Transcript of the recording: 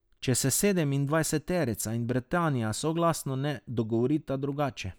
Če se sedemindvajseterica in Britanija soglasno ne dogovorita drugače.